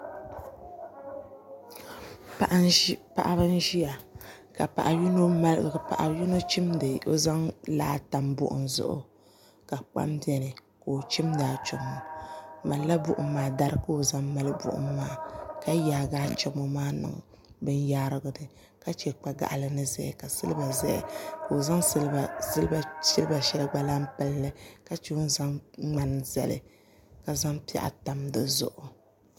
Paɣibi n ʒiya ka paɣi yinɔ zan laa n tam buɣum zuɣu ka kpam bɛni ka o chimdi achomo dari ka o zan mali buɣum maa ka yaagi achomo maa n niŋ bin yaarigu ni ka chɛ kpa gaɣali ni ʒɛya ka silba ʒɛya ka o zaŋ silba shɛli gba lahi pilli ka zaŋ ŋmani zali ka zaŋ piɛɣu tam dizuɣu